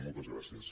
moltes gràcies